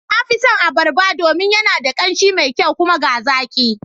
Na fi son Abarba domin yana da ƙanshi me kyau. kuma ga zaƙi